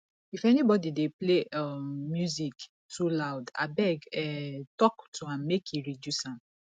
if anybody dey play um music too loud abeg um talk to am make e reduce am